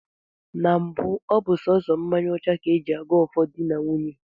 Na mbụ ọ bụ sọọsọ mmanya ọcha ka e ji ago ọfọ di na nwunye